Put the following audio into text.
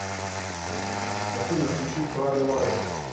афина включи тралли валли